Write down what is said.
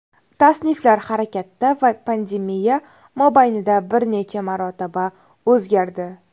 Tasniflar harakatda va pandemiya mobaynida bir necha marotaba o‘zgardi.